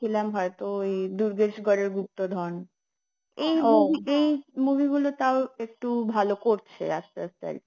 ছিলাম হয়তো ওই দুর্গেশরের গুপ্তধন এই movie গুলো তাও একটু ভালো করছে আসতে আসতে আর কি